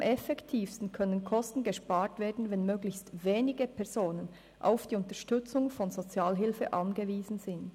Am effektivsten könne Kosten eingespart werden, wenn möglichst wenige Personen auf die Unterstützung von Sozialhilfe angewiesen sind.